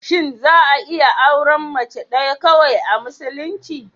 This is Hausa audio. Shin za'a iya auren Mace ɗaya kawai, a musulunci?